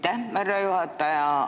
Aitäh, härra juhataja!